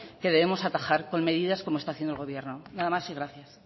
que debemos atajar con medidas como está haciendo el gobierno nada más y gracias